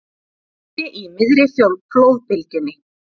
Lenti í miðri flóðbylgjunni